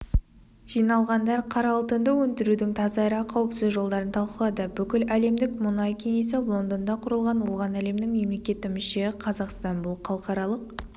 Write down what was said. жиналғандар қара алтынды өндірудің таза әрі қауіпсіз жолдарын талқылады бүкіләлемдік мұнай кеңесі лондонда құрылған оған әлемнің мемлекеті мүше қазақстан бұл халықаралық